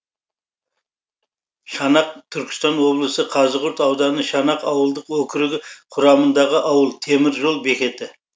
шанақ түркістан облысы қазығұрт ауданы шанақ ауылдық округі құрамындағы ауыл темір жол бекеті